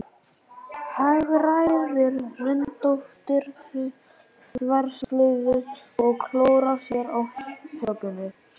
Hagræðir röndóttri þverslaufu og klórar sér á hökunni.